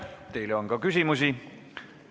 Teile on ka küsimusi.